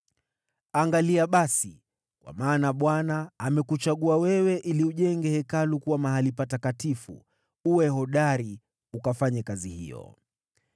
Angalia basi, kwa maana Bwana amekuchagua wewe ili ujenge Hekalu kuwa mahali patakatifu. Uwe hodari ukafanye kazi hiyo.”